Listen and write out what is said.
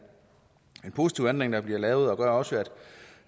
positiv ændring der bliver lavet og det gør også at